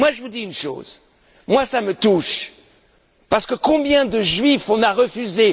Et moi, je vous dis une chose. Cela me touche parce que combien de Juifs avons nous refusés?